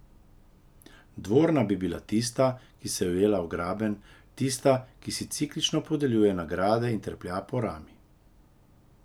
Dvorna bi bila tista, ki se je ujela v Graben, tista, ki si ciklično podeljuje nagrade in treplja po rami.